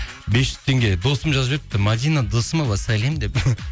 бес жүз теңге досым жазып жіберіпті мәдина досымова сәлем деп